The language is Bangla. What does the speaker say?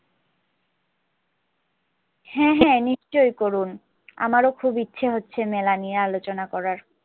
হ্যাঁ হ্যাঁ নিশ্চই করুন আমারও খুব ইচ্ছা হচ্ছে মেলা নিয়ে আলোচনা করার